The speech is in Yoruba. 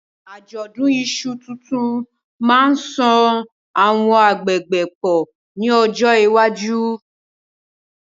Àjọ̀dún iṣu tuntun máa ń so àwọn agbègbè pọ̀ ní ọjọ́ iwájú.